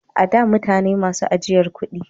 A da mutane ne masu ajiyan kudi